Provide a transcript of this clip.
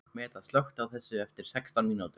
Meda, slökktu á þessu eftir sextán mínútur.